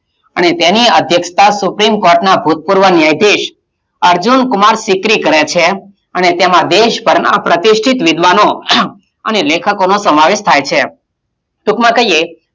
અને તેની આધ્યક્ષતા સુપ્રીમ court ના ભુતપૂર્વ ન્યાયાધીશ અર્જુન કુમાર શિખરી કરે છે અને તેમાં દેશભરનાં પ્રતિષ્ઠિત વિધવાનો અને લેખકોનો સમાવેશ થાય છે. ટુંકમાં કહીયે,